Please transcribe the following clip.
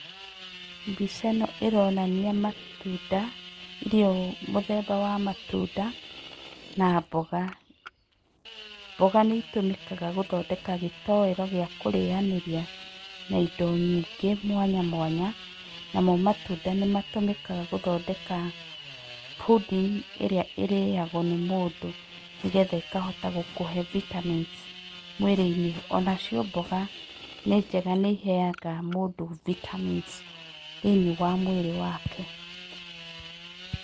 Mbica ĩno ĩronania matunda, irio mũthemba wa matunda na mboga. Mboga nĩ itũmĩkaga gũthondeka gĩtoero gĩa kũrĩanĩria na indo nyingĩ mwanya mwanya. Namo matunda nĩ matũmĩkaga gũthondeka pudding ĩrĩa ĩrĩagwo nĩ mũndũ nĩgetha ĩkahota gũkũhe vitamins mwĩrĩ-inĩ. Onacio mboga nĩ njega nĩ iheaga mũndũ vitamins thĩiniĩ wa mwĩrĩ wake.